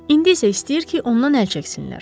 İndi isə istəyir ki, ondan əl çəksinlər.